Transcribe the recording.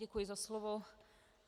Děkuji za slovo.